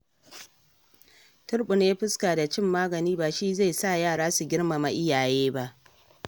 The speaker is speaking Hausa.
Turɓune fuska da cin magani ba shi zai sa yara su girmama iyaye ba.